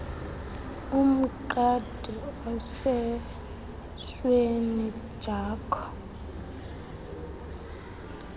umqadi osesweni jakho